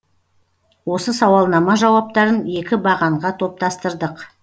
осы сауалнама жауаптарын екі бағанға топтастырдық